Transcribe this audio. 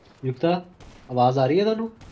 ਉਈ